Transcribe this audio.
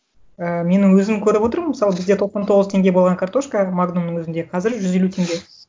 ы менің өзім көріп отырмын мысалы бізде тоқсан тоғыз теңге болған картошка магнумның өзінде қазір жүз елу теңге